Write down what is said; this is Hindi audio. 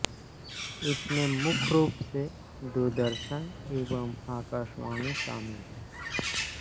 इसमें मुख्य रूप से दूरदर्शन एवं आकाशवाणी शामिल हैं